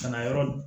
Ka na yɔrɔ